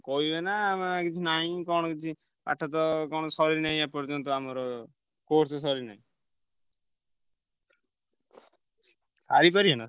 କହିବେ ନା ଆଁ କିଛି ନାଇଁ କଣ କିଛି ପାଠ ତ କଣ ସରିନାଇ ଏପର୍ଯ୍ୟନ୍ତ ଆମର course ସରିନି। ସାରିପାରିବେନା?